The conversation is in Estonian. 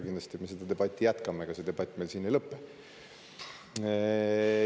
Kindlasti me seda debatti jätkame, ega see debatt meil ei lõpe.